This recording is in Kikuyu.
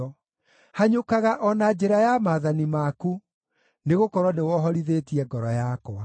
Hanyũkaga o na njĩra ya maathani maku, nĩgũkorwo nĩwohorithĩtie ngoro yakwa.